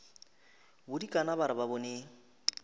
bodikana ba re ba bone